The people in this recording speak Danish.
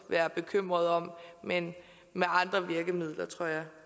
være bekymret om men med andre virkemidler tror jeg